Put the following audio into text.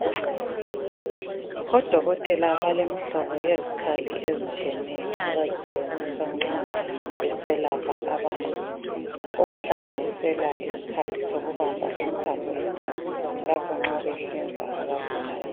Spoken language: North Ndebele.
Odokotela balemhlobo yezikhali ezitshiyeneyo abazisebenzisa nxa beselapha abantu, okuhlanganisela isikhali sokubamba imthambo yegazi lapha nxa behlinza abagulayo.